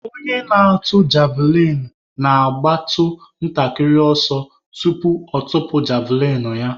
Onye na-atụ javlịn na-agbatụ ntakịrị ọsọ tupu ọ tụpụ javlịn ya.